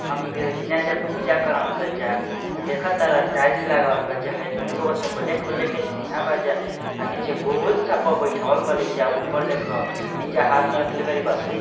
हम एकरा जीना जे पूजा करन स जा त देखा तारन टाइल्स लगावल बा हई जे दूनू बगल से ब्लैक ब्लैक के चिन्हा बा जा अ निचे गोल सब पा बइठावल बाड़े एजा अ ऊपर देखा निचे हाथ में रखले बाड़ी बसूली --